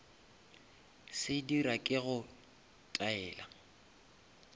se dira ke go taela